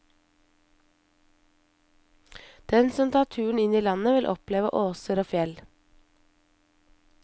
Den som tar turen inn i landet vil oppleve åser og fjell.